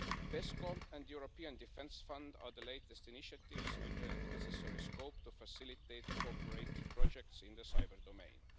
PESCO and the European Defence Fund are the latest initiatives with the necessary scope to facilitate co operative projects in the cyber domain.